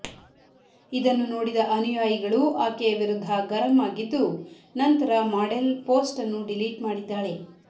ಇದನ್ನು ನೋಡಿದ ಅನುಯಾಯಿಗಳು ಆಕೆಯ ವಿರುದ್ಧ ಗರಂ ಆಗಿದ್ದು ನಂತರ ಮಾಡೆಲ್ ಪೋಸ್ಟ್ ಅನ್ನು ಡಿಲೀಟ್ ಮಾಡಿದ್ದಾಳೆ